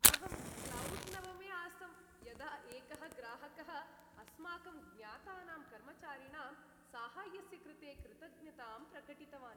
अहं क्लौड् नवमे आसम् यदा एकः ग्राहकः अस्माकं ज्ञातानां कर्मचारिणां साहाय्यस्य कृते कृतज्ञतां प्रकटितवान्।